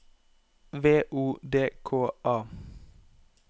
V O D K A